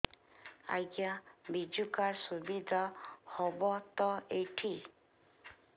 ଆଜ୍ଞା ବିଜୁ କାର୍ଡ ସୁବିଧା ହବ ତ ଏଠି